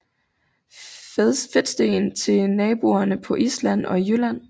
Fedtsten til nordboerne på Island og i Jylland